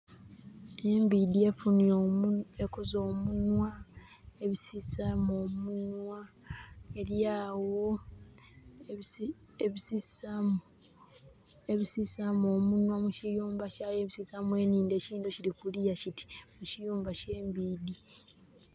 Embiidhi efunye...ekoze omunwa, ebisisaamu omunwa, eryawo ebisisaamu omunwa mukiyumba kyayo ebisisaamu enhindho ekiyindo kiri kuluya kiti mukiyumba kye mbiidhi